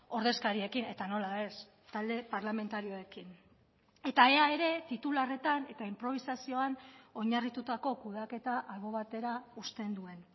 ordezkariekin eta nola ez talde parlamentarioekin eta ea ere titularretan eta inprobisazioan oinarritutako kudeaketa albo batera uzten duen